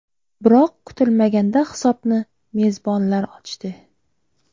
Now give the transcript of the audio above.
Biroq kutilmaganda hisobni mezbonlar ochdi.